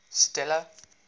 stella